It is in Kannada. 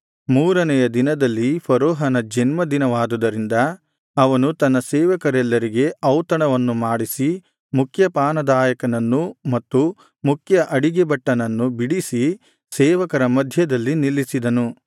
ಮೂರನೆಯ ದಿನದಲ್ಲಿ ಫರೋಹನ ಜನ್ಮ ದಿನವಾದುದರಿಂದ ಅವನು ತನ್ನ ಸೇವಕರೆಲ್ಲರಿಗೆ ಔತಣವನ್ನು ಮಾಡಿಸಿ ಮುಖ್ಯಪಾನದಾಯಕನನ್ನೂ ಮತ್ತು ಮುಖ್ಯ ಅಡಿಗೆಭಟ್ಟನನ್ನು ಬಿಡಿಸಿ ಸೇವಕರ ಮಧ್ಯದಲ್ಲಿ ನಿಲ್ಲಿಸಿದನು